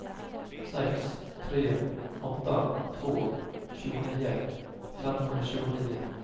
sex tre åtta två tjugonio femhundratjugonio